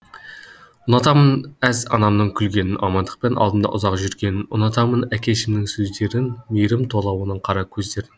ұнатамын әз анамның күлгенін амандықпен алдымда ұзақ жүргенінұнатамын әкешімнің сөздерінмейірім тола оның қара көздерін